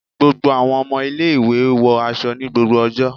Gbogbo àwọn ọmọ ilé-ìwé wọ aṣọ ni gbogbo ọjọ́